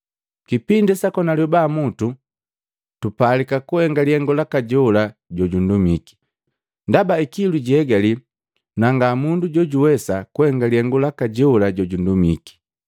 Kipindi sakona lioba mutu tupalika kuhenga lihengu laka jola jojundumiki. Ndaba ikilu jiegali na nga mundu jojuwesa kuhenga lihengu laka jola jojundumiki.